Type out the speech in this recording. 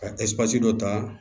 Ka dɔ ta